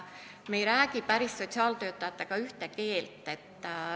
Me ei räägi sotsiaaltöötajatega päris ühte keelt.